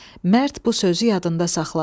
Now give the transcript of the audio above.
Mərd bu sözü yadında saxladı.